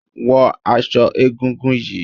Wo aso egúngún yìí!